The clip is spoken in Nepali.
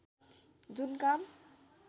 जुन काम